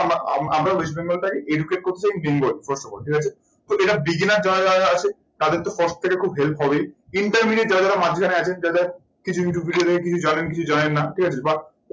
আমরা West Bengal টাই educate করতে চাই bengal ঠিক আছে। এটা beginner যারা যারা আছে তাদের তো প্রত্যেকের খুবই help হবেই intermediate যারা যারা মাঝখানে আছেন যারা কিছু কিছু video দেখে কিছু জানেন কিছু জানেন না ঠিক আছে। বা